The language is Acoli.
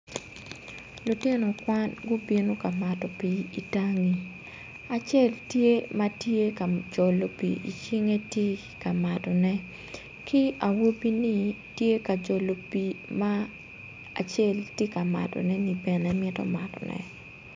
Lutino kwan gubino ka mato pii itangi acel tye ma tye ka jolo pii icinge tye ka matone ki awobini tye ka jolo pii ma acel tye kamatone ni bene mito matonne